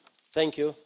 thank you